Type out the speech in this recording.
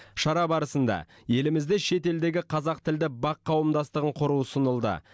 шара барысында елімізде шетелдегі қазақ тілді бақ қауымдастығын құру ұсынылды